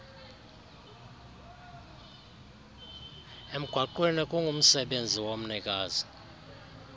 emgwaqweni kungumsebenzi womnikazi